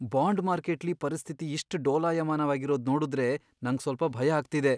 Bond ಮಾರ್ಕೆಟ್ಲಿ ಪರಿಸ್ಥಿತಿ ಇಷ್ಟ್ ಡೋಲಾಯಮಾನವಾಗಿರೋದ್ ನೋಡುದ್ರೆ ನಂಗ್ ಸ್ವಲ್ಪ ಭಯ ಆಗ್ತಿದೆ.